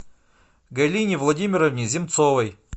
галине владимировне земцовой